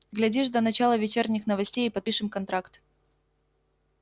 глядишь до начала вечерних новостей и подпишем контракт